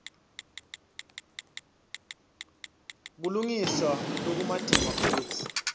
kulungiswa lokumatima futsi